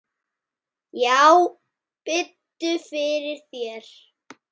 Já, biddu fyrir þér.